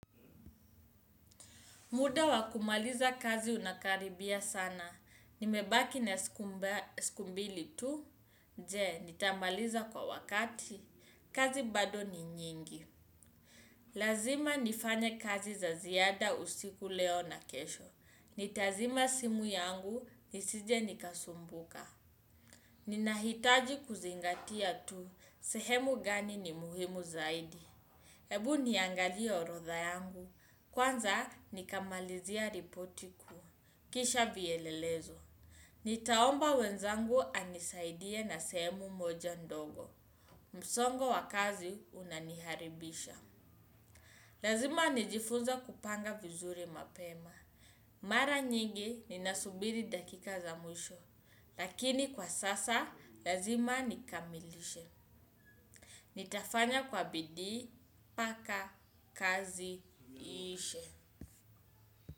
Muda wa kumaliza kazi unakaribia sana, nimebaki na siku mbili tu, je nitamaliza kwa wakati, kazi bado ni nyingi. Lazima nifanye kazi za ziada usiku leo na kesho, nitazima simu yangu, nisije nikasumbuka. Ninahitaji kuzingatia tu, sehemu gani ni muhimu zaidi. Ebu niangalie orodha yangu. Kwanza nikamalizia ripoti kuu. Kisha vielelezo. Nitaomba wenzangu anisaidie na sehemu moja ndogo. Msongo wa kazi unaniharibisha. Lazima nijifunze kupanga vizuri mapema. Mara nyingi ninasubiri dakika za mwisho. Lakini kwa sasa lazima nikamilishe. Nitafanya kwa bidii, mpaka, kazi, iishe.